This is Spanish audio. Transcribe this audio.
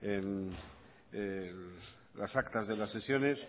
en las actas de las sesiones